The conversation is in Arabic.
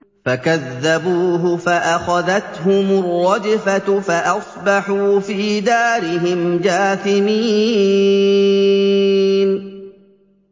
فَكَذَّبُوهُ فَأَخَذَتْهُمُ الرَّجْفَةُ فَأَصْبَحُوا فِي دَارِهِمْ جَاثِمِينَ